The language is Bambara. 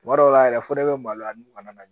Tuma dɔw la yɛrɛ fo ne bɛ maloya ni kɔnɔna na